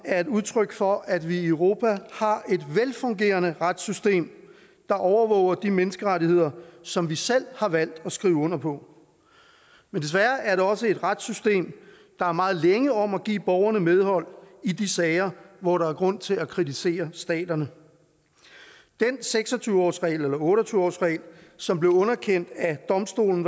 er et udtryk for at vi i europa har et velfungerende retssystem der overvåger de menneskerettigheder som vi selv har valgt at skrive under på men desværre er det også et retssystem der er meget længe om at give borgerne medhold i de sager hvor der er grund til at kritisere staterne den seks og tyve årsregel eller otte og tyve årsregel som blev underkendt af domstolen